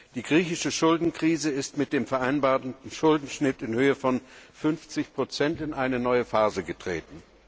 Die griechische Schuldenkrise ist mit dem vereinbarten Schuldenschnitt in Höhe von 50 in eine neue Phase getreten.